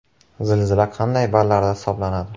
Zilzila qanday ballarda hisoblanadi?